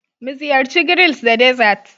Muziyarci grills da dessert